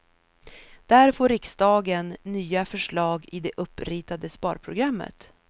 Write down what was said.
Där får riksdagen nya förslag i det uppritade sparprogrammet.